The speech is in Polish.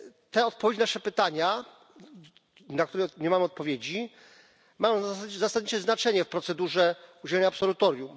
Te odpowiedzi na nasze pytania, na które nie mamy odpowiedzi, mają zasadnicze znaczenie procedurze udzielania absolutorium.